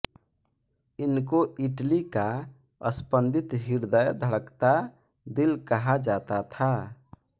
इनको इटली का स्पन्दित हृदय धड़कता दिल कहा जाता था